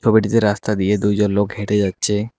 রাস্তা দিয়ে দুইজন লোক হেঁটে যাচ্ছে।